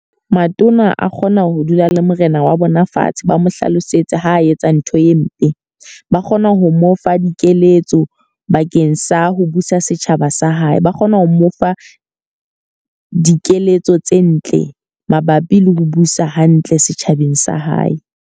Matona a kgona ho dula le Morena wa bona fatshe ba mo hlalosetse ha etsa ntho e mpe. Ba kgona ho mo fa dikeletso bakeng sa ho busa setjhaba sa hae. Ba kgona ho mo fa dikeletso tse ntle mabapi le ho busa hantle setjhabeng sa hae.